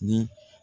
Ni